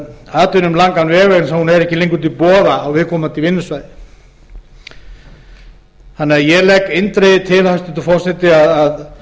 atvinnu um langan veg vegna þess að hún er ekki lengur til boða á viðkomandi vinnustöðum þannig að ég legg eindregið til hæstvirtur forseti að